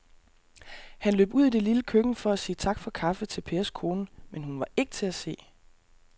Han løb ud i det lille køkken for at sige tak for kaffe til Pers kone, men hun var ikke til at se.